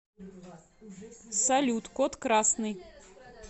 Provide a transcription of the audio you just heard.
салют код красный